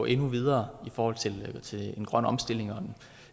endnu videre i forhold til en grøn omstilling og